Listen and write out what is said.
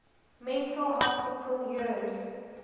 mental hospital years